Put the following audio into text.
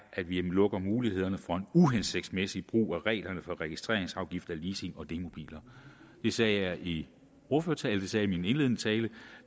at vi lukker mulighederne for en uhensigtsmæssig brug af reglerne for registreringsafgifter på leasing og demobiler det sagde jeg i ordførertalen det sagde jeg i min indledende tale